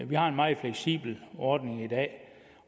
vi har en meget fleksibel ordning i dag